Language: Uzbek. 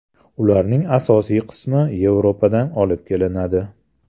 Ularning asosiy qismi Yevropadan olib kelinadi.